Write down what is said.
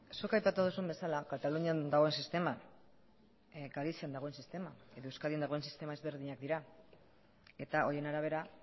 zuk aipatu duzun bezala katalunian dagoen sistema galizian dagoen sistema edo euskadin dagoen sistema ezberdinak dira eta horien arabera